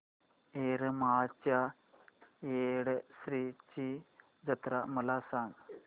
येरमाळ्याच्या येडेश्वरीची जत्रा मला सांग